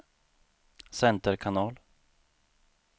center kanal